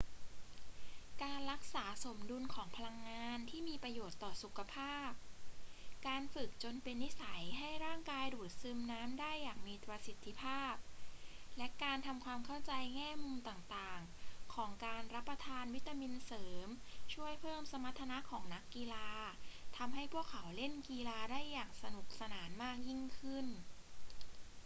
การรักษาสมดุลของพลังงานที่มีประโยชน์ต่อสุขภาพ การฝึกจนเป็นนิสัยให้ร่างกายดูดซึมน้ำได้อย่างมีประสิทธิภาพ และการทำความเข้าใจแง่มุมต่าง ๆ ของการรับประทานวิตามินเสริมช่วยเพิ่มสมรรถนะของนักกีฬาและทำให้พวกเขาเล่นกีฬาได้สนุกสนานมากยิ่งขึ้น